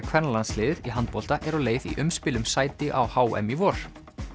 kvennalandsliðið í handbolta er á leið í umspil um sæti á h m í vor